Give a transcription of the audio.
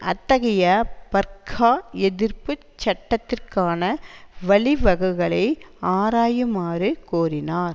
அத்தகைய பர்க்கா எதிர்ப்பு சட்டத்திற்கான வழிவகைகளை ஆராயுமாறு கோரினார்